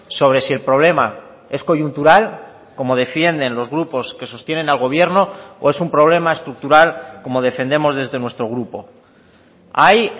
sobre si el problema es coyuntural como defienden los grupos que sostienen al gobierno o es un problema estructural como defendemos desde nuestro grupo hay